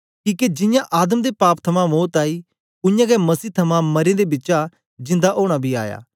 किके जियां आदम दे पाप थमां मौत आई उयांगै मसीह थमां मरें दें बिचा जिंदा ओना बी आया